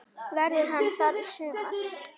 Verður hann þar í sumar?